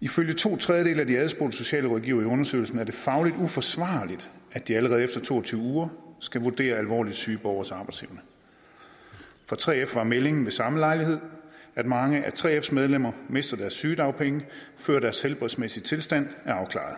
ifølge to tredjedele af de adspurgte socialrådgivere i undersøgelsen er det fagligt uforsvarligt at de allerede efter to og tyve uger skal vurdere alvorligt syge borgeres arbejdsevne fra 3f var meldingen ved samme lejlighed at mange af 3fs medlemmer mister deres sygedagpenge før deres helbredsmæssige tilstand er afklaret